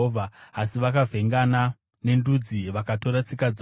asi vakavhengana nendudzi, vakatora tsika dzavo.